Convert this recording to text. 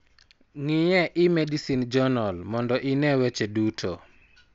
Ng'i e eMedicine Journal mondo ine weche duto.